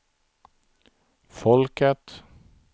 folket